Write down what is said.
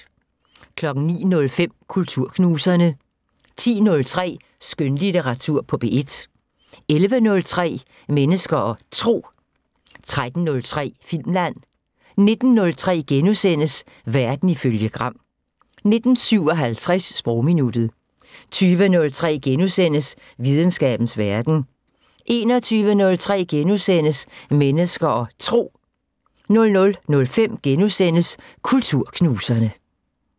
09:05: Kulturknuserne 10:03: Skønlitteratur på P1 11:03: Mennesker og Tro 13:03: Filmland 19:03: Verden ifølge Gram * 19:57: Sprogminuttet 20:03: Videnskabens Verden * 21:03: Mennesker og Tro * 00:05: Kulturknuserne *